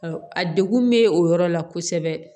A degun bɛ o yɔrɔ la kosɛbɛ